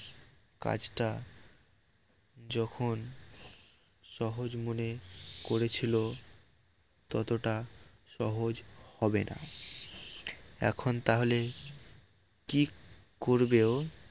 কাজটা যখন সহজ মনে করেছিল ততটা সহজ হবে না এখন তাহলে কি করবে ও